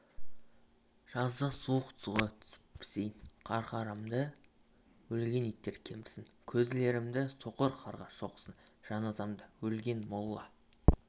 жазда суық суға түсіп пісейін қарқарамды өлген иттер кемірсін көзлерімді соқыр қарға шоқысын жаназамды өлген молла